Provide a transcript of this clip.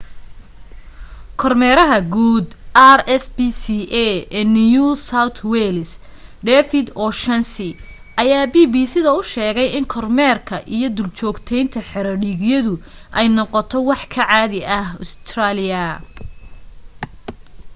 kormeeraha guud rspca ee new south wales david o'shannessy ayaa bbc da u sheegay in kormeerka iyo duljoogteynta xero dhiigyadu ay noqto wax ka caadi ah ustareeliya